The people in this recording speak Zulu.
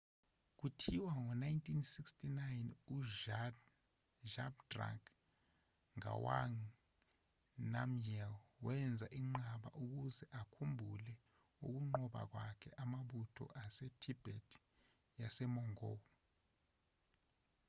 kuthiwa ngo-1649 uzhabdrung ngawang namgyel wenza inqaba ukuze akhumbule ukunqoba kwakhe amabutho asetibet yasemongol